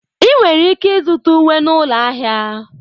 Ị nwere ike ịzụta uwe na ụlọ ahịa.